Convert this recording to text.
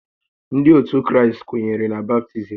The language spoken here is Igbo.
Ndị ótù Kraịst kwenyere na baptizim